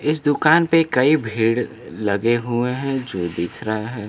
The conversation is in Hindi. इस दुकान पे कई भीड़ लगे हुए हैं जो दिख रहा है।